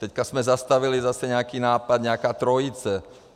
Teď jsme zastavili zase nějaký nápad, nějaká trojice.